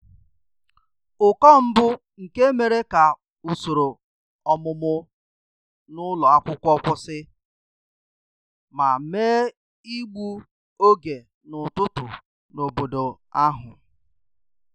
Ụkọ mbụ nke mere ka usoro ọmụmụ n'ụlo akwụkwo kwụsị ,ma mee igbu oge n'ụtụtụ n'obodo ahụ